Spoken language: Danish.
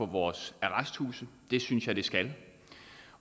vores arresthuse det synes jeg det skal